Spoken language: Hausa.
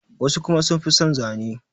wasu kuma sun fi son Zane